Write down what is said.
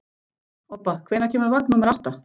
Obba, hvenær kemur vagn númer átta?